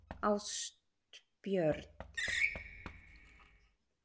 Ástbjörn, hringdu í Klemens eftir tólf mínútur.